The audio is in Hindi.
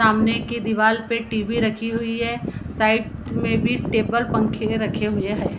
सामने के दीवाल पे टीवी रखी हुई हे साइड में भी टेबल पंखे रखे हुए हैं।